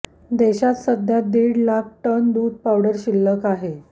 देशात सध्या दीड लाख टन दूध पावडर शिल्लक आहे